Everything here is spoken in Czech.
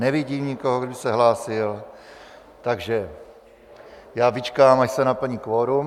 Nevidím nikoho, kdo by se hlásil, takže já vyčkám, až se naplní kvorum.